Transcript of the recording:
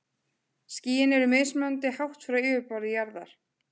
Skýin eru mismunandi hátt frá yfirborði jarðar.